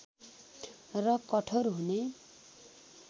र कठोर हुने